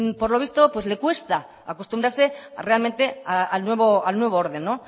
pues por lo visto le cuesta acostumbrarse realmente al nuevo orden